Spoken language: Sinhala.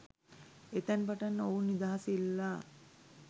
එතැන් පටන් ඔවුන් නිදහස ඉල්ලා